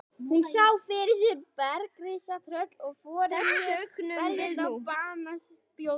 Hún sá fyrir sér bergrisa, tröll og forynjur berast á banaspjótum.